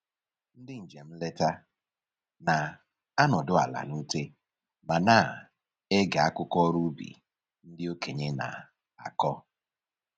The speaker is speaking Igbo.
Ndị njem nleta na-anọdụ ala n'ute ma na-ege akụkọ ọrụ ubi ndị okenye na-akọ